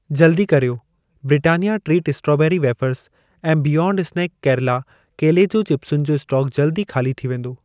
जल्दी कर्यो, Britannia treat strawberry wafers ऐं बियॉन्ड स्नैक केरला केले जूं चिपसुनि जो स्टोक जल्द ई खाली थी वेंदो।